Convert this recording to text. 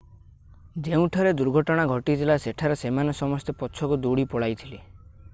ଯେଉଁଠାରେ ଦୁର୍ଘଟଣା ଘଟିଥିଲା ସେଠାରେ ସେମାନେ ସମସ୍ତେ ପଛକୁ ଦୌଡ଼ି ପଳାଇଥିଲେ